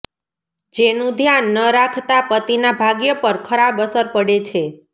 જેનુ ધ્યાન ન રાખતા પતિના ભાગ્ય પર ખરાબ અસર પડે છે